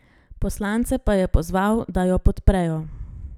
Poslance pa je pozval, da jo podprejo.